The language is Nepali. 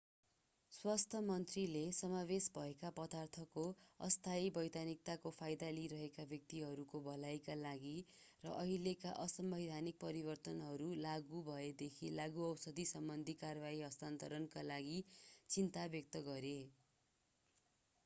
स्वास्थ्य मन्त्रीले समावेश भएका पदार्थको अस्थायी वैधानिकताको फाइदा लिइरहेका व्यक्तिहरूको भलाइका लागि र अहिलेका असंवैधानिक परिवर्तनहरू लागू भएदेखि लागूऔषध सम्बन्धी कारवाही हस्तान्तरणका लागि चिन्ता व्यक्त गरे